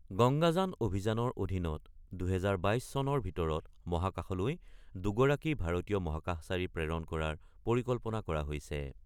গংগাযান অভিযানৰ অধীনত ২০২২ চনত ভিতৰত মহাকাশলৈ দুগৰাকী ভাৰতীয় মহাকাশচাৰী প্ৰেৰণ কৰাৰ পৰিকল্পনা কৰা হৈছে।